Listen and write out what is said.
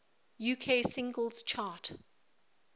uk singles chart